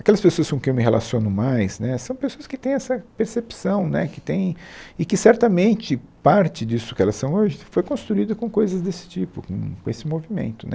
Aquelas pessoas com quem eu me relaciono mais né são pessoas que têm essa percepção né que tem... e que certamente parte disso que elas são hoje foi construído com coisas desse tipo, com com esse movimento né.